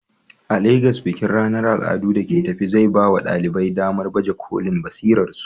A Legas, bikin ranar al'adu da ke tafe zai baiwa ɗalibai damar baje kolin basirarsu.